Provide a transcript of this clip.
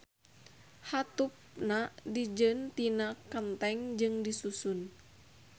Hateupna dijieun tina kenteng jeung disusun.